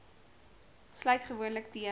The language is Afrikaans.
sluit gewoonlik teen